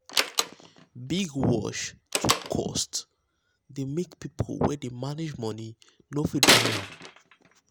big watch wey too um cost dey make people wey dey manage money no fit buy am.